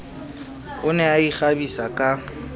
o ne a ikgabisa ka